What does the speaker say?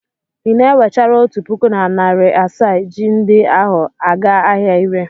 Ị na-ewechara otu puku na narị asaa ji ndi ahụ aga ahịa ire?